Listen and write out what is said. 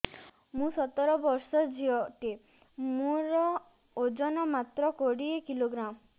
ମୁଁ ସତର ବର୍ଷ ଝିଅ ଟେ ମୋର ଓଜନ ମାତ୍ର କୋଡ଼ିଏ କିଲୋଗ୍ରାମ